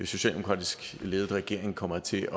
socialdemokratisk ledet regering kommer til